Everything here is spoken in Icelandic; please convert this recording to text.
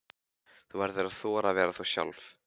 Þú verður að þora að vera þú sjálf.